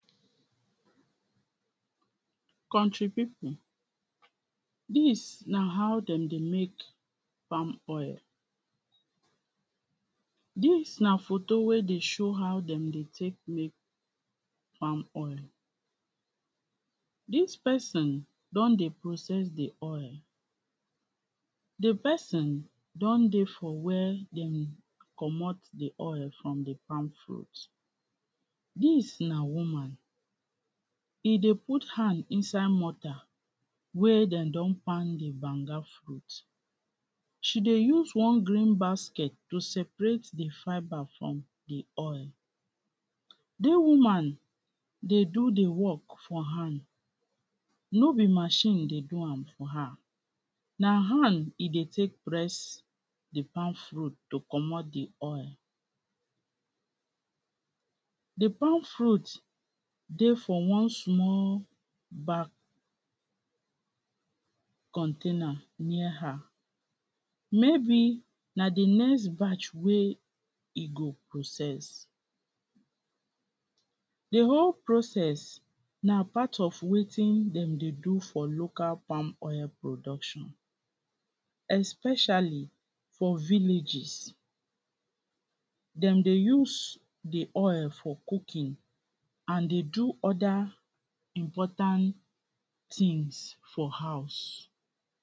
country people, dis na how dem dey make palm oil. Dis na photo wey dey show how dem dey take make palm oil. Dis pesin don dey process de oil. De pesin don dey for where dem comot de oil from de palm fruit. Dis na woman, e dey put hand inside motar wey den don pound de banga fruit. She dey use wan green basket to separate de fibre from de oil. de woman dey do dey work for hand, no be machine dey do am for her. Na hand e dey take press de palm fruit to comot de oil. De palm fruit dey for one small bag container near her. Maybe na de next batch wey e go process. De whole process na part of wetin dem dey do for local palm oil production especially for villages. Dem dey use de oil for cooking and dey do oda important tins for house.